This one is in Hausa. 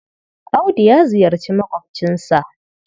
Audu ya ziyarci maƙwabcinsa.